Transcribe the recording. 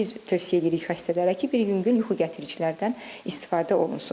Biz tövsiyə edirik xəstələrə ki, bir yüngül yuxu gətiricilərdən istifadə olunsun.